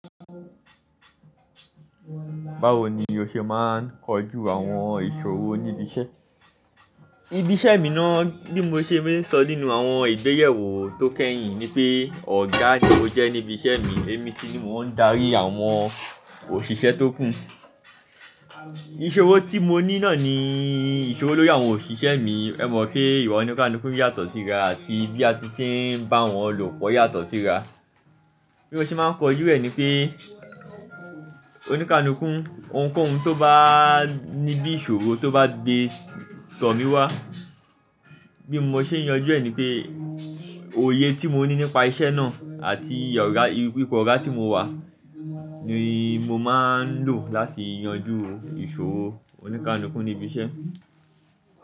Báwo ni o ṣe máa ń kojú àwọn ìṣòro ní ibi iṣẹ́? Ibi iṣẹ́ mi náà, bí mo ṣe maa ń sọ nínú àwọn ìgbéyewó tó kẹ́yìn ni pé ọ̀gá ni mo jẹ́ ní ibi iṣẹ́ mi, èmi sì ni mo ń darí àwọn òṣìṣẹ́ tó kù. Ìṣòro tí mo ní náà ni ìṣòro lóri àwọn òṣìṣẹ́ mi. Ẹ mọ̀ pé ìwà oníkálúkú yàtọ̀ síra àti bí a ti ṣe ń bá wọn lopo yàtọ̀ síra. Bí mo ṣe máa ń kojú ẹ ni pé oníkálúkú ohunkóhun tó bá ní bí ìṣòro tó bá gbé tọ̀ mí wá. Bí mo ṣe ń yanjú ẹ ni pé òye tí mo ní nípa iṣẹ́ náà àti ọ̀gá, ipo ọ̀gá tí mo wà ni mo máa ń lò láti yanjú ìṣòro oníkálúkú ní ibi iṣẹ́.